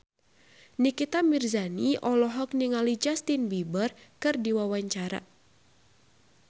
Nikita Mirzani olohok ningali Justin Beiber keur diwawancara